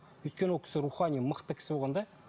өйткені ол кісі рухани мықты кісі болған да